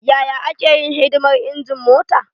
Yaya ake yin hidimar injin mota?